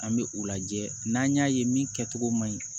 An bɛ u lajɛ n'an y'a ye min kɛcogo man ɲi